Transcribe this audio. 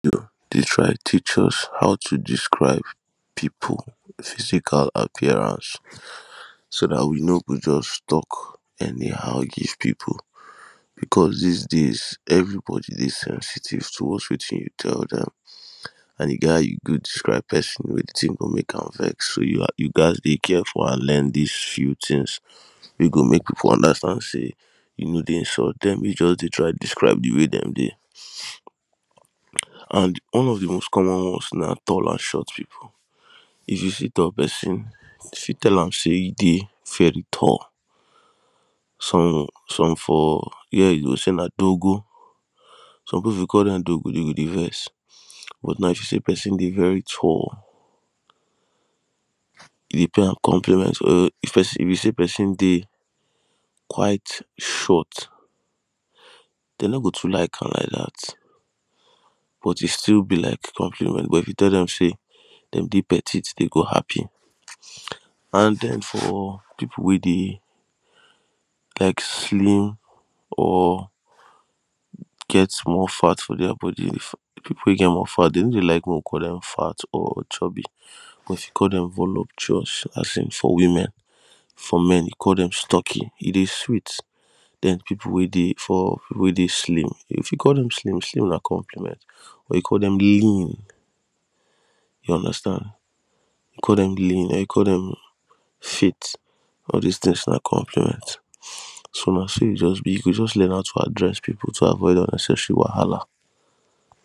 Dey teach us how to describe people physical appearance so dat we no go just tok any how give people becos dis days everybody dey sensitive towards wetin you tell dem and e get how you go describe person wit wetin go mek am vex. You ghast dey careful and learn dis tin wey go make people understand say you no dey insult dem you just dey try describe de way dem dey describe an one of de most comon ones na tall and short people. If you see tall person you fit tall am say you dey very tall for some some for here you go say nadogo some people if you call dem dogo dem go dey vex but now if you say person dey very tall e dey pay compliment well say person dey quite short dem no go too like an like dat but e still be like compliment but if you tell am say dem dey petite dem go dey happy and den for people wey like slim or get small fat for dere body people way get more fat dem no dey like call dem fat or chubby but if you call dem voluptuous as in for women women for men you call dem sturky e dey sweet dem. People weydey slim if you call dem slim slim na compliment or you call dem lean you understand. If you call dem lean or you call them fit all dis tins na compliment so na so e just be you go just learn how to address people to avoid unneccesary whahala